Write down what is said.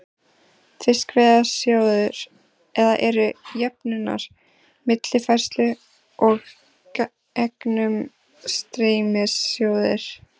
Fiskveiðasjóður, eða eru jöfnunar-, millifærslu- og gegnumstreymissjóðir.